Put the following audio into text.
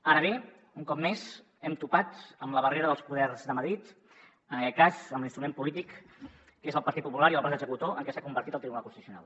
ara bé un cop més hem topat amb la barrera dels poders de madrid en aquest cas amb l’instrument polític que és el partit popular i el braç executor en què s’ha convertit el tribunal constitucional